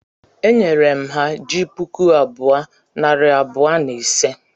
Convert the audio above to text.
E nyere m ha ji puku bụọ,, nari bụọ, na ise